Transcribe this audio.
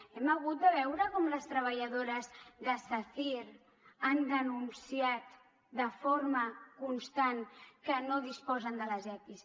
hem hagut de veure com les treballadores de sacyr han denunciat de forma constant que no disposen dels epis